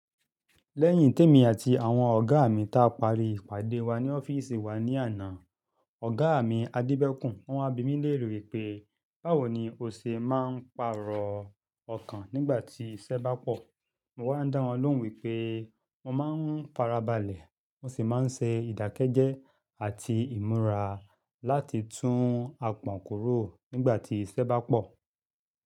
Lẹ́yìn tí èmi àti àwọn ọ̀gá mi ta parí ìpàdé wa ní ọ́fíìsì wa ní àná, ọ̀gá mi, Adébẹ́kùn, wọn wa bimi léèrè wípé, "Báwo ni o ṣe máa ń pàrọ̀ ọkàn nígbà tí iṣẹ́ bá pọ̀?" Mo wá dá wọn lóhùn wípé mo máa ń farabalẹ̀, mo sì máa ń ṣe ìdákẹ́jẹ́ àti ìmúra láti tún apọ̀n kúrò nígbà tí iṣẹ́ bá pọ̀.